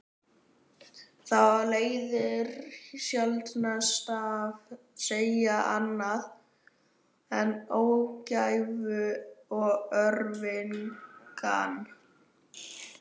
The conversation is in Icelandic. Það leiðir sjaldnast af sér annað en ógæfu og örvinglan.